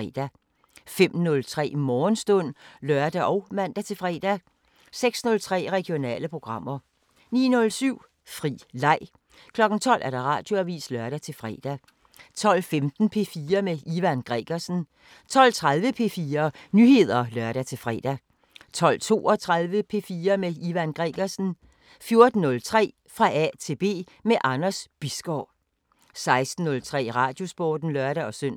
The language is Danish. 05:00: Radioavisen (lør-fre) 05:03: Morgenstund (lør og man-fre) 06:03: Regionale programmer 09:07: Fri leg 12:00: Radioavisen (lør-fre) 12:15: P4 med Ivan Gregersen 12:30: P4 Nyheder (lør-fre) 12:32: P4 med Ivan Gregersen 14:03: Fra A til B – med Anders Bisgaard 16:03: Radiosporten (lør-søn)